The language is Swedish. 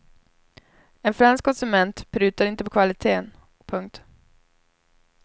En fransk konsument prutar inte på kvaliteten. punkt